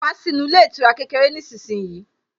Wá sí inú ilé ìtura kékeré nísinsìnyí